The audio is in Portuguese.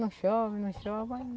Não chove, não chove. Ai